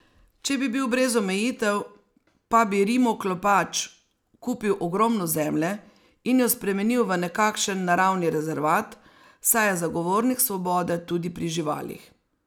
Če bi bil brez omejitev, pa bi rimoklepač kupil ogromno zemlje in jo spremenil v nekakšen naravni rezervat, saj je zagovornik svobode tudi pri živalih.